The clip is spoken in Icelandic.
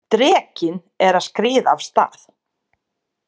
Drekinn er að skríða af stað!